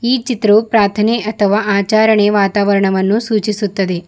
ಈ ಚಿತ್ರವು ಪ್ರಾಥನೆ ಅಥವ ಆಚಾರಣೆ ವಾತಾವರ್ಣವನ್ನು ಸೂಚಿಸುತ್ತದೆ.